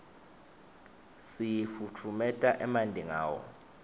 sifutfumeta emanti ngawo